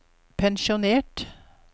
pensjonert